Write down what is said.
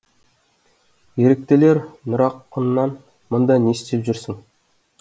еріктілер нұрақыннан мұнда не істеп жүрсің